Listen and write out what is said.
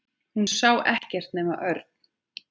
Hún sá ekkert nema Örn.